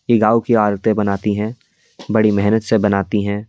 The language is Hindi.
ये गांव की औरतें बनाती हैं बड़ी मेहनत से बनाती हैं।